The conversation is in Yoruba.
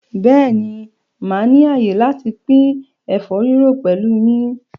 Bẹ́ẹ̀ ni, màá ní àyè láti pín ẹ̀fọ́ rírò pẹ̀lú yín.